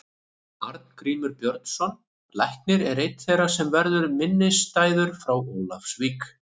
Arngrímur Björnsson læknir er einn þeirra sem verður minnisstæður frá Ólafsvík.